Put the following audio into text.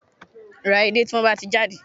Ra edé tí wọ́n bá ti jáde